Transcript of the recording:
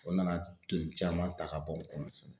O nana donni caman ta ka bɔ u kɔnɔ